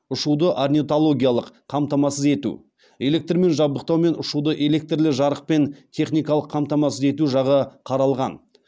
ұшуды орнитологиялық қамтамасыз ету электрмен жабдықтау мен ұшуды электрлі жарықпен техникалық қамтамасыз ету жағы қаралған